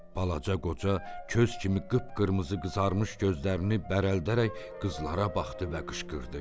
Balaca qoca köz kimi qıpqırmızı qızarmış gözlərini bərəldərək qızlara baxdı və qışqırdı.